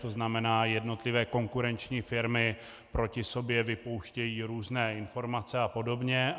To znamená, jednotlivé konkurenční firmy proti sobě vypouštějí různé informace a podobně.